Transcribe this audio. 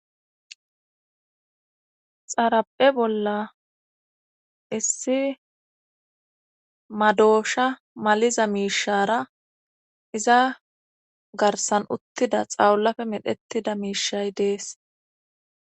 xaraphe bolla issi madoosha maliza miishara iza garsan uttida xawulafe medhettida miishay dees